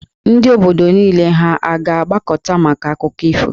Ndị obodo niile ha a ga-agbakọta maka akụkọ ifo?